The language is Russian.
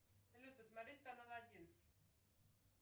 салют посмотреть канал один